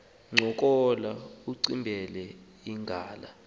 ncokola ugqibele ngala